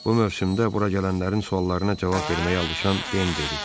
Bu mövsümdə bura gələnlərin suallarına cavab verməyə alışan Den dedi: